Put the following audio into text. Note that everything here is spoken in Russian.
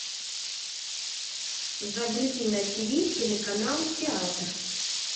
загрузи на тв телеканал театр